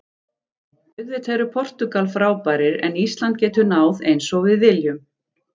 Auðvitað eru Portúgal frábærir en Ísland getur náð eins og við viljum.